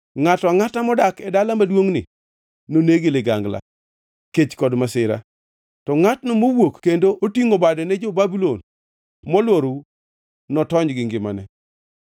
Ngʼato angʼata modak e dala maduongʼni noneg gi ligangla, kech kod masira. To ngʼatno mowuok kendo otingʼo bade ne jo-Babulon molworou; notony gi ngimane.